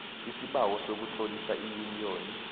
isibawo sokutlolisa iyuniyoni